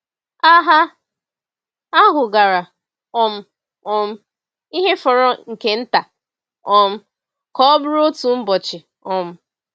Agha ahụ gara um um ihe fọrọ nke nta um ka ọ bụrụ otu ụbọchị. um